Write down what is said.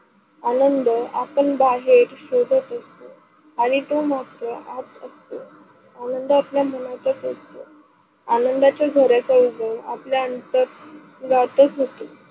आनंद आपन बाहेर शोधत असतो, आणि आनंदातल मनातच असतो आनंदाच्या झर्याचा उगम आपल्या अंतरंगातच होतो.